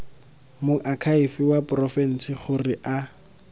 moakhaefe wa porofense gore a